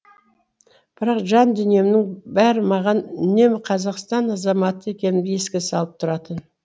бірақ жан дүниемнің бәрі маған үнемі қазақстан азаматы екенімді еске салып тұратын